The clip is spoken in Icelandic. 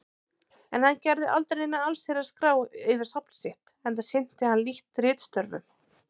En hann gerði aldrei neina allsherjar-skrá yfir safn sitt, enda sinnti hann lítt ritstörfum.